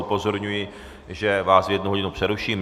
Upozorňuji, že vás v jednu hodinu přeruším.